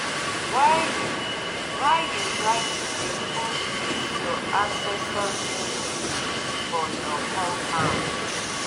why you why you like to dey put this your ancestors image for your compound?